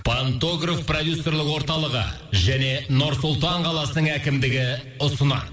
пантогроф продюсерлік орталығы және нұр сұлтан қаласының әкімдігі ұсынады